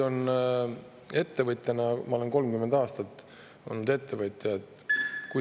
Ma olen 30 aastat olnud ettevõtja.